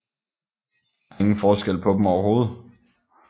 Der er ingen forskel på dem overhovedet